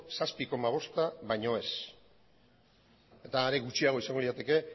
zazpi koma bosta baino ez eta are gutxiago izango lirateke